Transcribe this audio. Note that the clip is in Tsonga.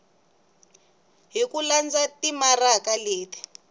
hi ku landza timaraka leti